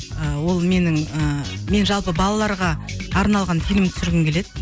ы ол менің ыыы жалпы мен балаларға арналған фильм түсіргім келеді